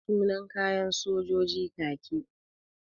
Sunan kayan sojoji kaki.